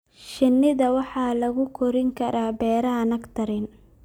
Shinida waxaa lagu korin karaa beeraha nectarine.